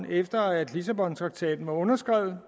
efter at lissabontraktaten var underskrevet